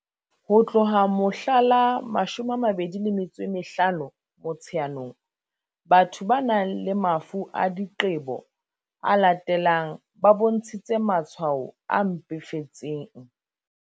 Ho tloha mohla la 25 Mo-tsheanong, batho ba nang le mafu a diqebo a latelang ba bontshitse matshwao a mpefetseng.